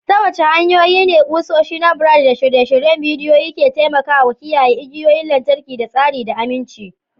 Ta wace hanyoyi ne kusoshi na brad da shirye-shiryen bidiyo ke taimakawa kiyaye igiyoyin lantarki da tsari da aminci?